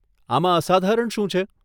આમાં અસાધારણ શું છે?